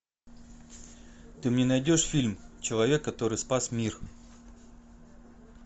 ты мне найдешь фильм человек который спас мир